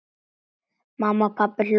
Mamma og pabbi hlógu.